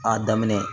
A daminɛ